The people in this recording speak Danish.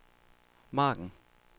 margen